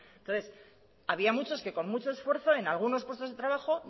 entonces había muchos que con mucho esfuerzo en algunos puestos de trabajo